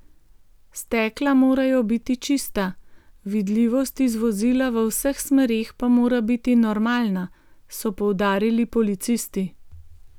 Stekla morajo biti čista, vidljivost iz vozila v vseh smereh pa mora biti normalna, so poudarili policisti.